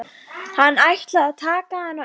Hann ætlar að taka hana upp.